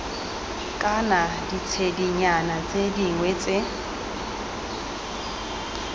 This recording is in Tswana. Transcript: kana ditshedinyana tse dingwe tse